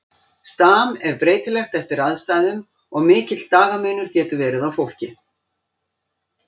Stam er breytilegt eftir aðstæðum og mikill dagamunur getur verið á fólki.